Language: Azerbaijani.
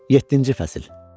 Yeddinci fəsil.